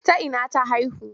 A ina ta haihu?